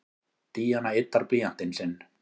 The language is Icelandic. Díana yddar blýantinn sinn.